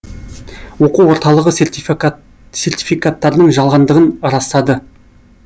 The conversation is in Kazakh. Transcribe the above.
оқу орталығы сертификаттардың жалғандығын растады